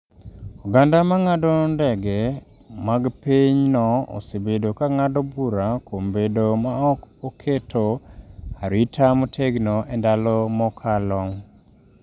Oganda ma ng’ado ndege mag pinyno osebedo ka ng’ado bura kuom bedo ma ok oketo arita motegno e ndalo mokalo.